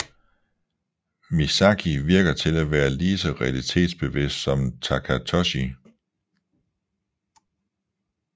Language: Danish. Misaki virker til at være lige så realitetsbevidst som Takatoshi